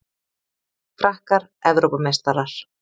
Frakkar Evrópumeistarar